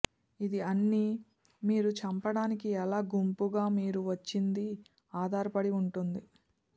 ఇది అన్ని మీరు చంపడానికి ఎలా గుంపుకు మీరు వచ్చింది ఆధారపడి ఉంటుంది